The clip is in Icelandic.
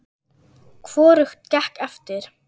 Hvorugt gekk eftir.